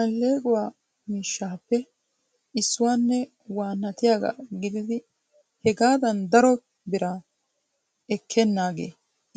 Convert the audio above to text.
Alleequwa miishshappe issuwanne waannatiyaaga gididi hegadan daro bira ekkenaage